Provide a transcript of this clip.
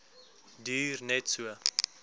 duur net so